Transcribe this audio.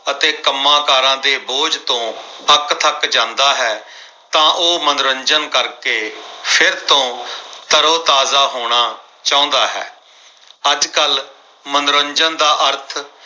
ਅਤੇ ਕੰਮਕਾਰਾਂ ਦੇ ਬੋਝ ਤੋਂ ਅੱਕਥੱਕ ਜਾਂਦਾ ਹੈ। ਤਾਂ ਉਹ ਮਨੋਰੰਜਨ ਕਰ ਕੇ ਫਿਰ ਤੋਂ ਤਰੋ-ਤਾਜ਼ਾ ਹੋਣਾ ਚਾਹੁੰਦਾ ਹੈ ਅੱਜਕੱਲ ਮਨੋਰੰਜਨ ਦਾ ਅਰਥ